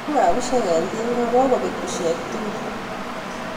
Wii ngaa bushek eng tinga kokobek bushek tugul